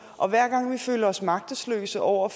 og hver gang vi føler os magtesløse over